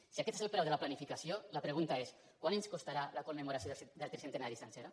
si aquest és el preu de la planificació la pregunta és quant ens costarà la commemoració del tricentenari sencera